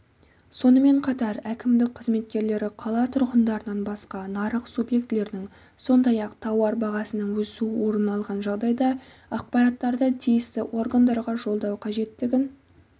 сонымен қатар әкімдік қызметкерлері қала тұрғындарынан басқа нарық субъектілерінің сондай-ақ тауар бағасының өсу орын алған жағдайда ақпараттарды тиісті органдарға жолдау қажеттігін